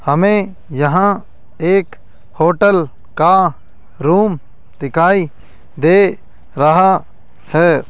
हमे यहां एक होटल का रूम दिखाई दे रहा है।